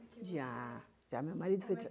meu marido